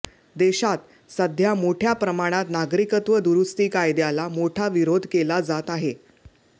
देशात सध्या मोठ्या प्रमाणात नागरिकत्व दुरुस्ती कायद्याला मोठा विरोध केला जात आहे